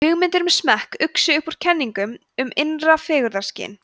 hugmyndir um smekk uxu upp úr kenningum um innra fegurðarskyn